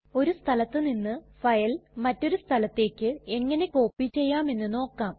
ഒരു സ്ഥലത്ത് നിന്ന് ഫയൽ മറ്റൊരു സ്ഥലത്തേക്ക് എങ്ങനെ കോപ്പി ചെയ്യാം എന്ന് നോക്കാം